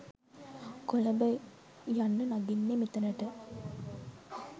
කොළඹ යන්න නගින්නෙ මෙතනට